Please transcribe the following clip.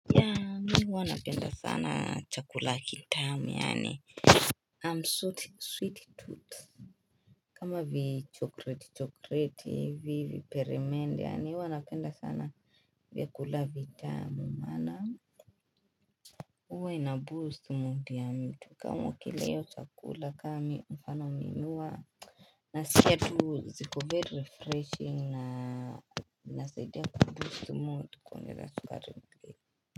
Mi huwa napenda sana chakula kitamu yaani I'm sweet tooth kama vichokreti chokreti hivi viperemende yaani huwa napenda sana vyakula vitamu maana huwa ina boost mood ya mtu kama ukila hiyo chakula ka mi mfano mi hua Nasikia tu ziko very refreshing na nasaidia kuboost mood kuongelea sukari mtu.